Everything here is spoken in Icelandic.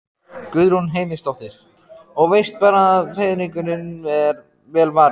Guðrún Heimisdóttir: Og veist bara að peningunum er vel varið?